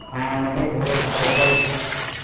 হ্যাঁ অনেক বোরো ফাঁকা